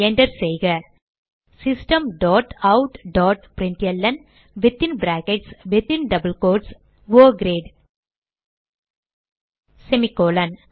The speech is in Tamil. enter செய்க system dot out dot println within brackets within double quotes oh great semicolon